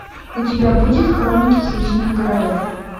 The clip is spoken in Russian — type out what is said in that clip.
у тебя будет хроники хищных городов